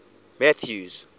mathews